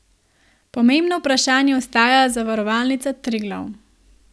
Pomembno vprašanje ostaja Zavarovalnica Triglav.